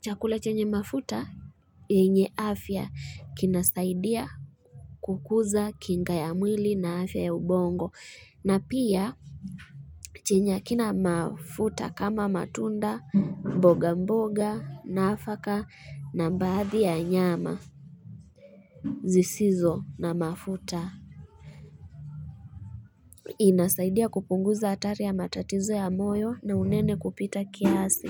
chakula chenye mafuta yenye afya kinasaidia kukuza kinga ya mwili na afya ya ubongo na pia chenye hakina mafuta kama matunda mboga mboga naafaka na baathi ya nyama zisizo na mafuta Inasaidia kupunguza hatari ya matatizo ya moyo na unene kupita kiasi.